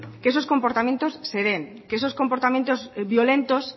que esos comportamiento se den que esos comportamientos violentos